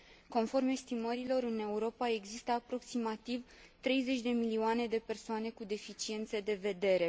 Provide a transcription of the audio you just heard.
Conform estimărilor, în Europa există aproximativ 30 de milioane de persoane cu deficiențe de vedere.